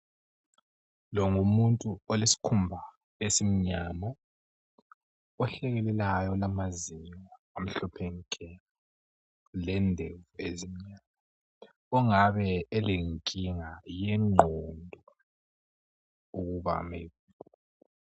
Longumuntu olesikhumba esimnyama ohlekelelayo olamazinyo amhlophe nke lendevu ezimnyama ongabe elenkinga yegqondo ukuba medi